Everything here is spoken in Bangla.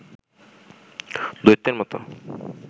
দৈত্যের মতো